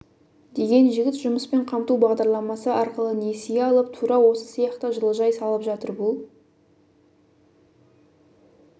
деген жігіт жұмыспен қамту бағдарламасы арқылы несие алып тура осы сияқты жылыжай салып жатыр бұл